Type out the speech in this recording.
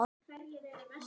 LITLA POKA!